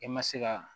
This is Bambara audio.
I ma se ka